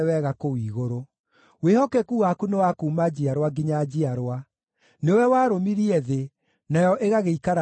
Wĩhokeku waku nĩ wa kuuma njiarwa nginya njiarwa; nĩwe warũmirie thĩ, nayo ĩgagĩikara o ĩrũmĩte.